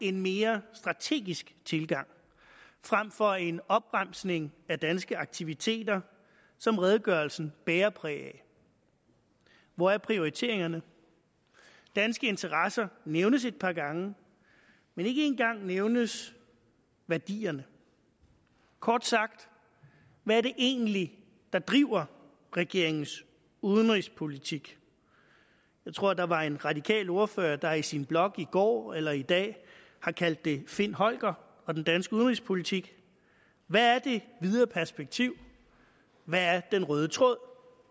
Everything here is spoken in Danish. en mere strategisk tilgang frem for en opremsning af danske aktiviteter som redegørelsen bærer præg af hvor er prioriteringerne danske interesser nævnes et par gange men ikke en gang nævnes værdierne kort sagt hvad er det egentlig der driver regeringens udenrigspolitik jeg tror der var en radikal ordfører der i sin blog i går eller i dag har kaldt det find holger og den danske udenrigspolitik hvad er det videre perspektiv hvad er den røde tråd